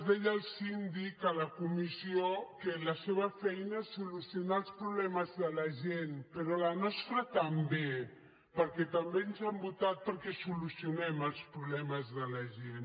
deia el síndic a la comissió que la seva feina és solucionar els problemes de la gent però la nostra també perquè també ens han votat perquè solucionem els problemes de la gent